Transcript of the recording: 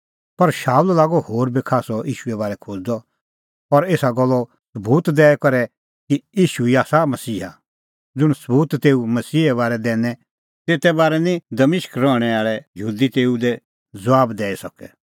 पर शाऊल लागअ होर बी खास्सअ ईशूए बारै खोज़दअ और एसा गल्लो सबूत दैईदैई करै कि ईशू ई आसा मसीहा ज़ुंण सबूत तेऊ मसीहे बारै दैनै तेते बारै निं दमिश्क रहणैं आल़ै यहूदी तेऊ लै ज़बाब दैई सकै